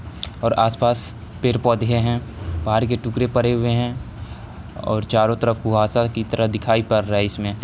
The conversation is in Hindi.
और आसपास पेड़-पौधे हैं पहाड़ के टुकड़े पड़े हुए हैं और चारों तरफ कुहासा की तरह दिखाई पड़ रहा है इसमें--